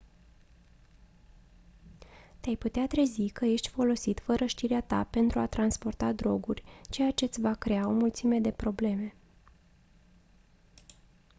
te-ai putea trezi că ești folosit fără știrea ta pentru a transporta droguri ceea ce-ți va crea o mulțime de probleme